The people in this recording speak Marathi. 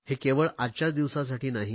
हे केवळ आजच्याच दिवसासाठी नाही